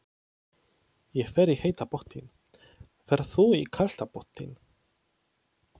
Ég fer í heita pottinn. Ferð þú í kalda pottinn?